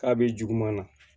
K'a bɛ juguman na